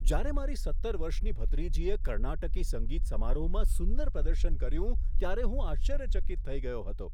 જ્યારે મારી સત્તર વર્ષની ભત્રીજીએ કર્ણાટકી સંગીત સમારોહમાં સુંદર પ્રદર્શન કર્યું ત્યારે હું આશ્ચર્યચકિત થઈ ગયો હતો.